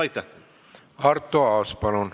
Arto Aas, palun!